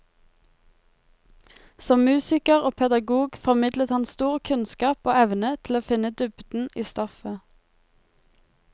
Som musiker og pedagog formidlet han stor kunnskap og evne til å finne dybden i stoffet.